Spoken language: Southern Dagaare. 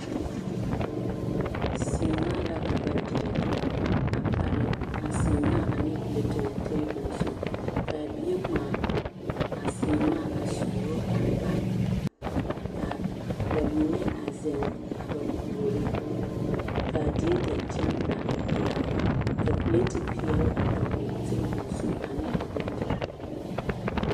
Seemaa la ka ba dire a pare a seemaa ane perɛtere tabol zu k,a bie ŋmaa a seemaa a suuro a ba ka ba mine a zeŋ a ba puoriŋ k,a die dankyini a e pelaa la pilati peɛle a dɔgle tabol zu ane a bondirii.